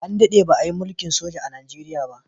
An daɗe ba a yi mulkin soja a Najeriya ba.